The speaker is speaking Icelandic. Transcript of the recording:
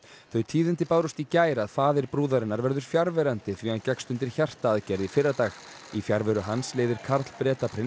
þau tíðindi bárust í gær að faðir brúðarinnar verður fjarverandi því hann gekkst undir hjartaaðgerð í fyrradag í fjarveru hans leiðir Karl Bretaprins